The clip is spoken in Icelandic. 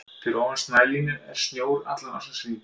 Fyrir ofan snælínu er snjór allan ársins hring.